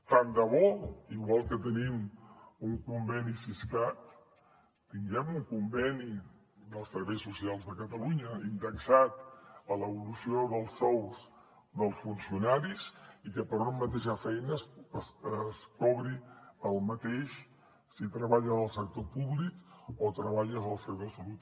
tant de bo igual que tenim un conveni siscat tinguem un conveni dels serveis socials de catalunya indexat a l’evolució dels sous dels funcionaris i que per una mateixa feina es cobri el mateix si treballes al sector públic o treballes al sector salut